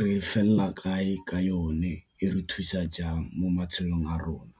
re felela kae ka yone e re thusa jang mo matshelong a rona.